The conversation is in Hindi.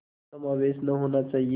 कदापि समावेश न होना चाहिए